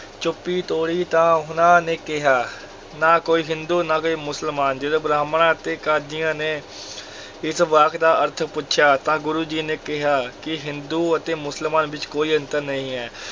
ਚੁੱਪੀ ਤੋੜੀ ਤਾਂ ਉਹਨਾਂ ਨੇ ਕਿਹਾ, ਨਾ ਕੋਈ ਹਿੰਦੂ, ਨਾ ਕੋਈ ਮੁਸਲਮਾਨ, ਜਦੋਂ ਬ੍ਰਾਹਮਣਾਂ ਅਤੇ ਕਾਜ਼ੀਆਂ ਨੇ ਇਸ ਵਾਕ ਦਾ ਅਰਥ ਪੁੱਛਿਆ, ਤਾਂ ਗੁਰੂ ਜੀ ਨੇ ਕਿਹਾ ਕਿ ਹਿੰਦੂ ਅਤੇ ਮੁਸਲਮਾਨ ਵਿੱਚ ਕੋਈ ਅੰਤਰ ਨਹੀਂ ਹੈ,